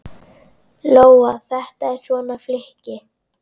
Lóa: Þetta er svona flykki?